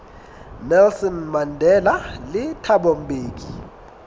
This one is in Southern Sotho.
nelson mandela le thabo mbeki